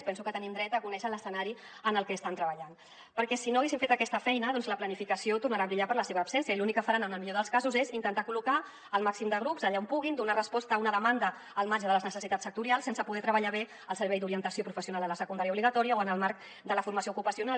penso que tenim dret a conèixer l’escenari en què estan treballant perquè si no haguessin fet aquesta feina doncs la planificació tornarà a brillar per la seva absència i l’únic que faran en el millor dels casos és intentar col·locar el màxim de grups allà on puguin donar resposta a una demanda al marge de les necessitats sectorials sense poder treballar bé el servei d’orientació professional a la secundària obligatòria o en el marc de la formació ocupacional